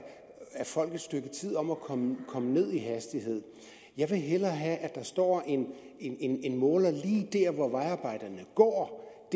folk et stykke tid om at komme komme ned i hastighed jeg vil hellere have at der står en måler lige der hvor vejarbejderne går